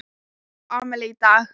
Ég á afmæli í dag.